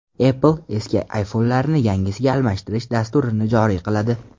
Apple eski iPhone’larni yangisiga almashtirish dasturini joriy qiladi.